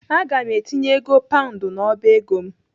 Aga m etinye ego paund n'ọba ego m.